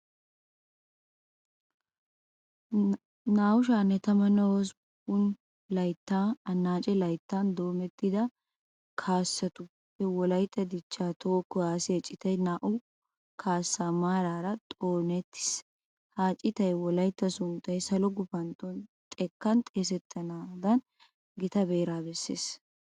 2018 annaace layttaa doometta kaassatuppe wolaytta dichchaa toho kuwaasiya citay naa"u kaassata maaraara xoonettiis. Ha citay wolaytta sunttay salo gufantto xekkan xeesettanaadan gita beeraa bessees.